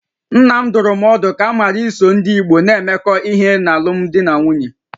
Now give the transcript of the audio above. Nna m dụrụ m ọdụ ka m ghara iso ndị Igbo na-emekọ ihe n'alụmdi na nwunye